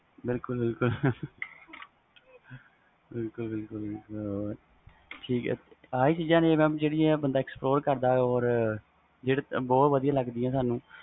ਬਿਲਕੁਲ ਬਿਲਕੁਲ ਇਹੀ ਚੀਜ਼ਾਂ ਨੇ ਜਿਹੜਾ ਬੰਦਾ explore ਕਰਦਾ ਵ or ਜਿਹੜੀਆਂ ਵਦੀਆਂ ਲੱਗਦੀਆਂ ਨੇ